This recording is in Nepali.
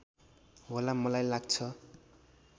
होला मलाई लाग्छ